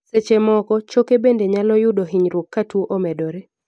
seche moko, choke bende nyalo yudo hinyruok ka tuo omedore